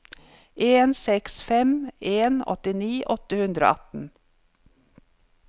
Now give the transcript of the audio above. en seks fem en åttini åtte hundre og atten